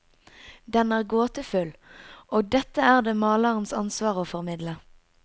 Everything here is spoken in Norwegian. Den er gåtefull, og dette er det malerens ansvar å formidle.